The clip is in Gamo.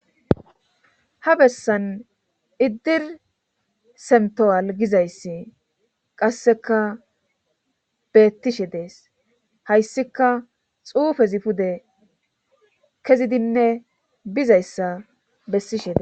ha bessan iddir semtowal gizayssi qasseka beettishe dees hayssika xuufezi pude kezidinne bizayssa bessishe dee